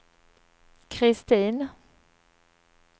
Kristin